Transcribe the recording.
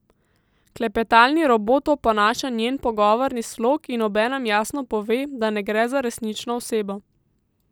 Klepetalni robot oponaša njen pogovorni slog in obenem jasno pove, da ne gre za resnično osebo.